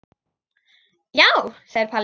Já, segir Palli.